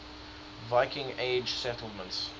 viking age settlements